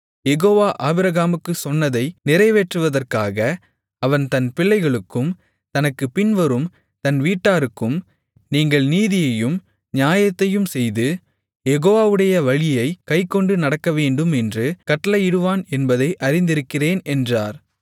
யெகோவா ஆபிரகாமுக்குச் சொன்னதை நிறைவேற்றுவதற்காக அவன் தன் பிள்ளைகளுக்கும் தனக்குப் பின்வரும் தன் வீட்டாருக்கும் நீங்கள் நீதியையும் நியாயத்தையும் செய்து யெகோவாவுடைய வழியைக் கைக்கொண்டு நடக்கவேண்டுமென்று கட்டளையிடுவான் என்பதை அறிந்திருக்கிறேன் என்றார்